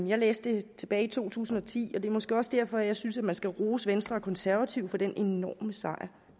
jeg læste det tilbage i to tusind og ti og det er måske også derfor jeg synes man skal rose venstre og konservative for den enorme sejr